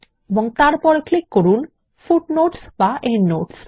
এবং তারপর ক্লিক করুন ফুটনোটস এন্ডনোটস